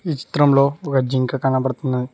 ఈ చిత్రంలో ఒక జింక కనబడుతున్నాది.